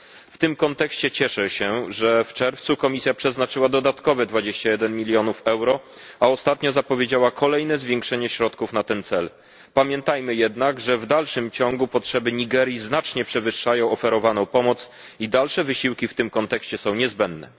W tym kontekście cieszę się, że w czerwcu Komisja przeznaczyła dodatkowe 21 milionów euro, a ostatnio zapowiedziała kolejne zwiększenie środków na ten cel. Pamiętajmy jednak, że w dalszym ciągu potrzeby Nigerii znacznie przewyższają oferowaną pomoc i dalsze wysiłki w tym kontekście są niezbędne.